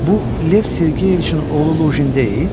Bu Lev Sergeyeviçin oğlu Luqin deyil?